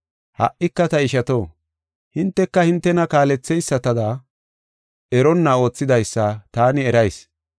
“Ha77ika ta ishato, hinteka hintena kaaletheysatada, eronna oothidaysa taani erayis.